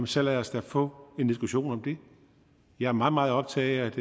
så lad os da få en diskussion om det jeg er meget meget optaget